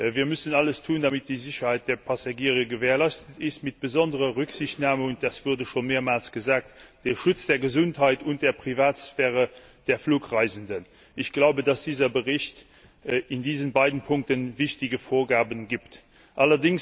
Wir müssen alles tun, damit die Sicherheit der Passagiere gewährleistet ist, mit besonderer Rücksichtnahme und das wurde schon mehrmals gesagt auf den Schutz der Gesundheit und der Privatsphäre der Flugreisenden. Ich glaube, dass dieser Bericht in diesen beiden Punkten wichtige Vorgaben enthält.